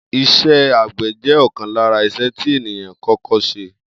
Is̩é̩ àgbè̩ jé̩ ò̩kan lára is̩e̩ tí ènìyàn kó̩kó̩ s̩e